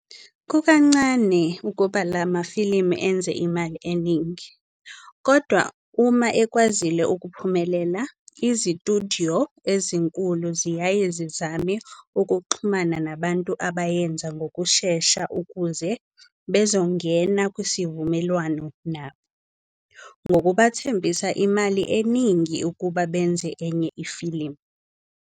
Kukancane ukuba lamafilimu enze imali eningi, kodwa uma ekwazile ukuphumelela, izitudyo ezinkulu ziyaye zizame ukuxhumana nabantu abayenza ngokushesha ukuze bezongena kwisivumelwano nabo, ngokubathembisa imali eningi ukuba benze enye ifilimu.